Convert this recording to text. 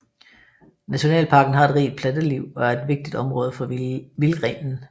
Nationalparken har et rigt planteliv og er et vigtigt område for vildrenen